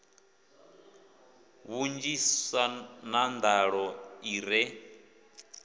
vhunzhisa na nḓaḓo i re